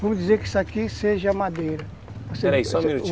Vamos dizer que isso aqui seja madeira, pera aí, só um minutinho.